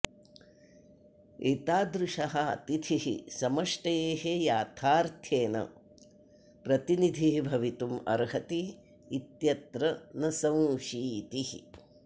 एतादृशः अतिथिः समष्टेः याथार्थ्येन प्रतिनिधिः भवितुम् अर्हति इत्यत्र न संशीतिः